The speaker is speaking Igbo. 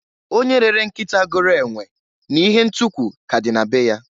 Onye rere nkịta goro enwe n'ihe ntukwu ka a dị na be ya.